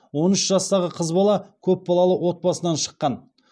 он үш жастағы қыз бала көпбалалы отбасынан шыққан